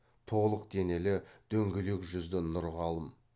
толық денелі дөңгелек жүзді нұрғалым